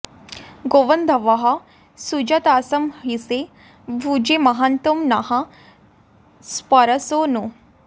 गोब॑न्धवः सुजा॒तास॑ इ॒षे भु॒जे म॒हान्तो॑ नः॒ स्पर॑से॒ नु